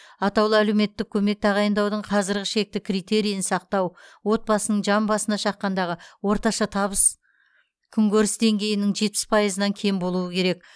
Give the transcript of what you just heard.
атаулы әлеуметтік көмек тағайындаудың қазіргі шекті критерийін сақтау отбасының жан басына шаққандағы орташа табыс күнкөріс деңгейінің жетпіс пайызынан кем болуы керек